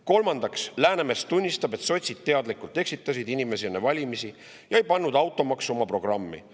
Kolmandaks, Läänemets tunnistab, et sotsid eksitasid inimesi teadlikult enne valimisi ja ei pannud automaksu oma programmi.